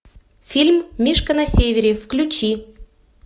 фильм мишка на севере включи